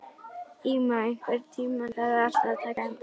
Íma, einhvern tímann þarf allt að taka enda.